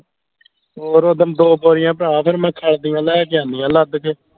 ਹੋਰ ਓਦਣ ਦੋ ਬੋਰੀਆਂ ਭਰਾ ਫੇਰ ਮੈਂ ਖੱਲ ਦੀਆਂ ਲੈ ਕੇ ਆਂਦੀਆਂ ਲੱਦ ਕੇ